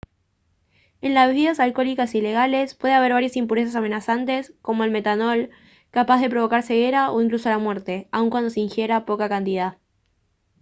en las bebidas alcohólicas ilegales puede haber varias impurezas amenazantes como el metanol capaz de provocar ceguera o incluso la muerte aun cuando se ingiera poca cantidad